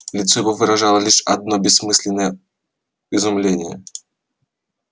лицо его выражало лишь одно бессмысленное изумление